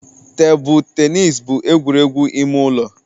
Tebụl tenis bụ egwuregwu ime ụlọ.